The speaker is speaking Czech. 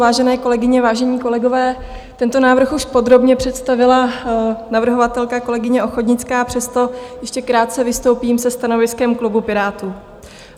Vážené kolegyně, vážení kolegové, tento návrh už podrobně představila navrhovatelka, kolegyně Ochodnická, přesto ještě krátce vystoupím se stanoviskem klubu Pirátů.